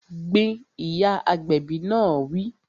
Gbin! Ìyá agbẹ̀bi náà wí